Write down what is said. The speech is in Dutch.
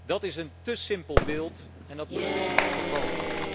Dat is een té simpel beeld en dat moeten wij zien te voorkomen.